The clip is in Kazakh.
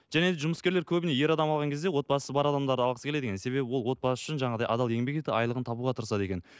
және де жұмыскерлер көбіне ер адам алған кезде отбасы бар адамдарды алғысы келеді екен себебі ол отбасы үшін жаңағыдай адал еңбек етіп айлығын табуға тырысады екен